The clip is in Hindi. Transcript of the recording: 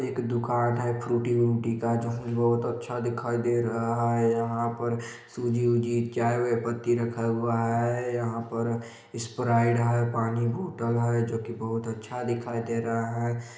एक दुकान है फ्रूटी - उरूटी का जोकि बोहोत अच्छा दिखाई दे रहा है यहाँ पर सूजी -उजी चाय -वाए पत्ती रखा हुआ है यहाँ पर इस्प्राइट है पानी की बोतल है जोकि बहोत अच्छा दिखाई दे रहा हैं।